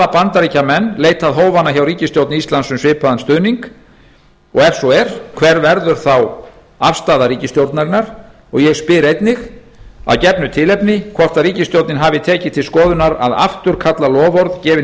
bandaríkjamenn leitað hófanna hjá ríkisstjórn íslands um svipaðan stuðning og ef svo er hver verður þá afstaða ríkisstjórnarinnar ég spyr einnig af gefnu tilefni hvort ríkisstjórnin hafi tekið til skoðunar að afturkalla loforð gefin